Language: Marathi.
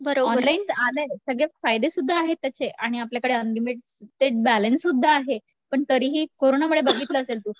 ऑनलाईन आलंय सगळे फायदे सुद्धा आहेत त्याचे आणि आपल्याकडे अनलिमिटेड ते बॅलेन्स सुद्धा आहे पण तरीही कोरोनामुळे बघितलं असेल तू